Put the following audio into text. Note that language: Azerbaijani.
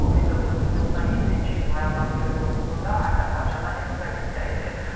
O 1997-ci il noyabrın 29-da Azərbaycana ekstradisiya edilib.